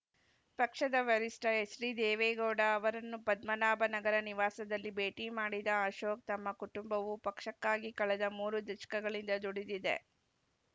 ಪಕ್ಷದ ವರಿಷ್ಠ ಎಚ್‌ಡಿದೇವೇಗೌಡ ಅವರನ್ನು ಪದ್ಮನಾಭ ನಗರ ನಿವಾಸದಲ್ಲಿ ಭೇಟಿ ಮಾಡಿದ ಅಶೋಕ್‌ ತಮ್ಮ ಕುಟುಂಬವು ಪಕ್ಷಕ್ಕಾಗಿ ಕಳೆದ ಮೂರು ದಶ್ಕಗಳಿಂದ ದುಡಿದಿದೆ